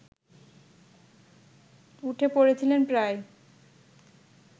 উঠে পড়েছিলেন প্রায়